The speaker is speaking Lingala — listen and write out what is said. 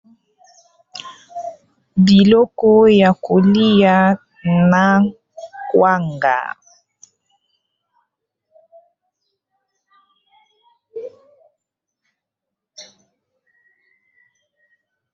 Biloko ya kolia na kwanga.